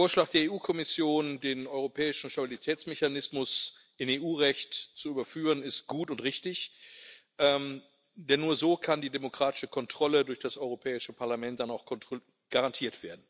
Der Vorschlag der EU Kommission, den Europäischen Stabilitätsmechanismus in EU Recht zu überführen, ist gut und richtig, denn nur so kann die demokratische Kontrolle durch das Europäische Parlament auch garantiert werden.